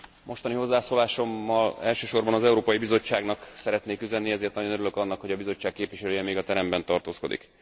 Mostani hozzászólásommal elsősorban az Európai Bizottságnak szeretnék üzenni, ezért nagyon örülök annak, hogy a Bizottság képviselője még a teremben tartózkodik.